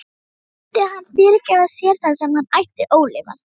Myndi hann fyrirgefa sér það sem hann ætti ólifað?